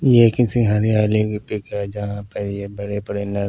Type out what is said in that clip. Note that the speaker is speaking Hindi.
ये किसी हरियाली की पिक है जहाँ पर यह बड़े बड़े न--